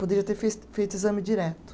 Poderia ter fez feito exame direto.